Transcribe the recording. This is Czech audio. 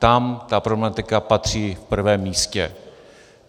Tam ta problematika patří v prvém místě.